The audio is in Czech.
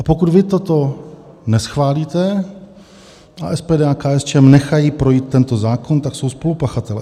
A pokud vy toto neschválíte a SPD a KSČM nechají projít tento zákon, tak jsou spolupachatelé.